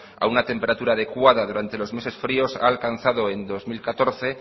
a una temperatura adecuada durante los meses fríos ha alcanzado en dos mil catorce